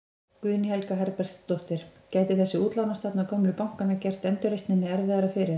Guðný Helga Herbertsdóttir: Gæti þessi útlánastefna gömlu bankanna gert endurreisninni erfiðara fyrir?